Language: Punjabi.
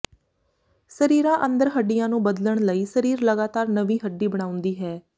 ਸਰੀਰਾਂ ਅੰਦਰ ਹੱਡੀਆਂ ਨੂੰ ਬਦਲਣ ਲਈ ਸਰੀਰ ਲਗਾਤਾਰ ਨਵੀਂ ਹੱਡੀ ਬਣਾਉਂਦੀ ਹੈ